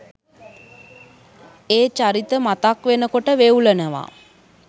ඒ චරිත මතක් වෙනකොට වෙවුලනවා